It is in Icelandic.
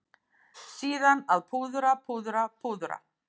Síðan að púðra, púðra, púðra.